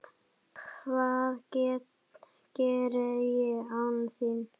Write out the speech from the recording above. Hvað geri ég án þín?